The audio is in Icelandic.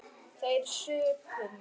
Þeir supu á.